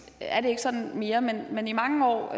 ikke sådan mere men i mange år